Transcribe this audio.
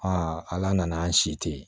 ala nana an si tɛ yen